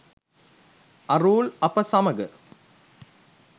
අරූල් අප සමග